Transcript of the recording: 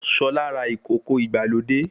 Ṣọlá ra ìkòkò ìgbàlódé